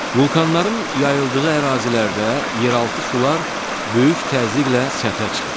Vulcanların yayıldığı ərazilərdə yeraltı sular böyük təzyiqlə səthə çıxır.